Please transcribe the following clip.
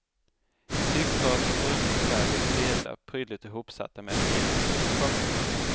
I tygtrasor och bruna kuvert låg sedlar prydligt ihopsatta med gem. punkt